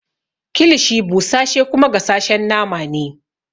Kilishi busashe kuma gasashen nama ne.